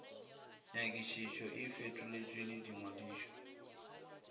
nyakišišo e fetoletšwe le ngwadišo